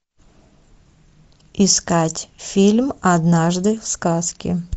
искать фильм однажды в сказке